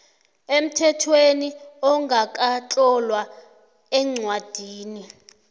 emthethweni ongakatlolwa eencwadini